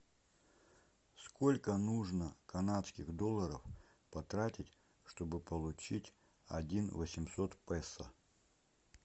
сколько нужно канадских долларов потратить чтобы получить один восемьсот песо